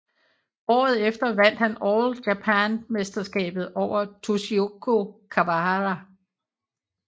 Året efter vandt han All Japan mesterskabet over Tsukio Kawahara